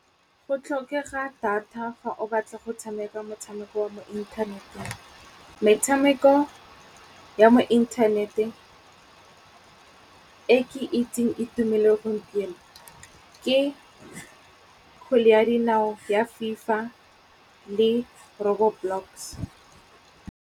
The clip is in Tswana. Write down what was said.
Go tlhokega data fa o batla go tshameka motshameko wa mo inthaneteng. Metshameko ya mo inthaneteng e ke itseng e tumile gompieno, ke kgwele ya dinao ya Fifa le Robo Blocks.